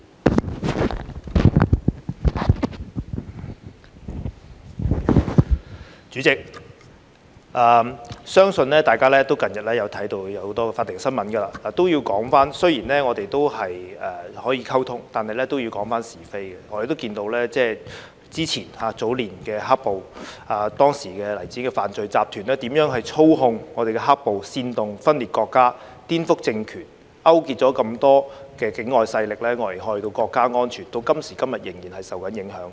代理主席，相信大家近日都看到很多法庭新聞，我要說，雖然我們可以溝通，但是都要講是非的，我們看到早年的"黑暴"，當時黎智英的犯罪集團如何操控"黑暴"，煽動分裂國家、顛覆政權、勾結很多境外勢力危害到國家安全，到今時今日仍然受到影響。